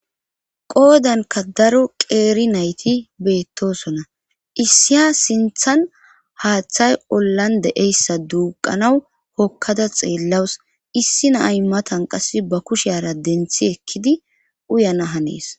qoodanka daro qeeri nayti beettosona issiya sinthan haaththay ollan de'eyssa duuqanaw hokkada xeellawus issi na'ay matan qass ba kushiara denthi ekkidi uyana hanees